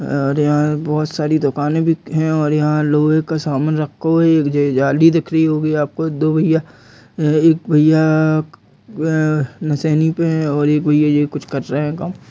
और यहां बहोत सारी दुकान भी है और यहाँ लोहे के सामान रखा हुआ। एक जाली दिख रही होगी आपको। दो भैया एक भैया क- ह- मशीनें पे है और एक भैया कुछ कर रहे हैं काम।